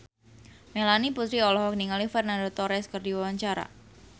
Melanie Putri olohok ningali Fernando Torres keur diwawancara